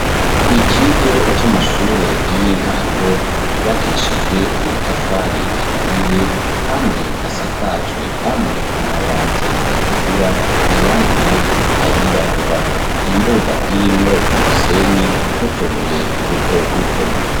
Ikigo c'amashure y'intango, yubakishijwe amatafari aturiye, kandi asakajwe, amwe, amabati atukura, ayandi nayo ayirabura; imbuga irimwo umusenyi n'utubuye duto duto.